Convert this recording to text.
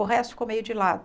O resto ficou meio de lado.